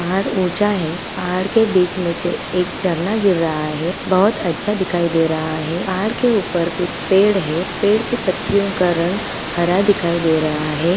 पहाड़ ऊँचा है पहाड़ के बीच में से एक झरना गिर रहा है बहोत अच्छा दिखाई दे रहा है पहाड़ के ऊपर कुछ पेड़ है पेड़ के पत्तियों का रंग हरा दिखाई दे रहा है।